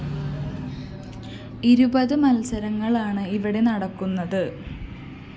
ഇരുപത് മത്സരങ്ങളാണ് ഇവിടെ നടക്കുന്നത്